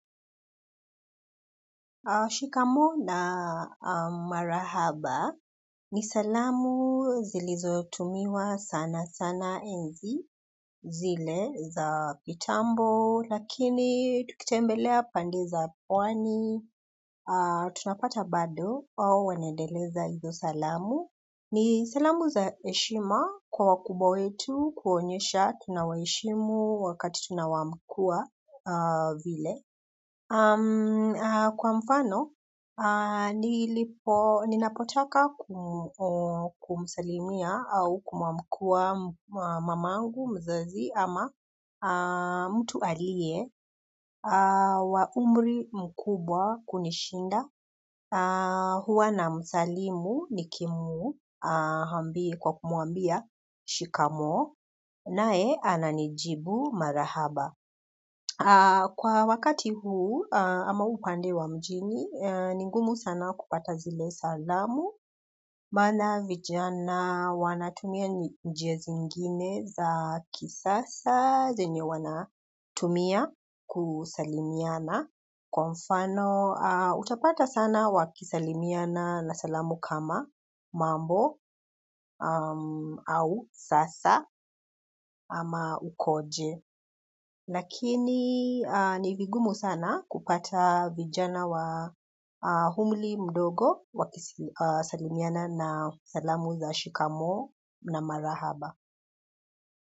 Shikamo na marahaba, ni salamu zilizo tumiwa sana sana enzi zile za kitambo, lakini ukitembelea pande za pwani, tunapata bado wao wanaendeleza hizo salamu. Ni salamu za heshima kwa wakubwa wetu kuonyesha tunawaheshimu wakati tunawaamkuwa vile. Kwa mfano ninapotaka kumsalimia au kuamkuwa mamangu mzazi ama mtu aliye wa umri mkubwa kunishinda huwa na msalimu nikimu kwa kumwambia shikamo nae ananijibu marahaba kwa wakati huu ama upande wa mjini, ni ngumu sana kupata zile salamu, maana vijana wanatumia njia zingine za kisasa zenye wanatumia kusalimiana. Kwa mfano, utapata sana wakisalimiana na salamu kama mambo au sasa ama ukoje. Lakini ni vigumu sana kupata vijana wa umri mdogo wakisalimiana na salamu za shikamoo na marahaba.